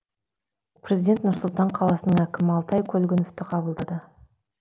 президент нұр сұлтан қаласының әкімі алтай көлгіновті қабылдады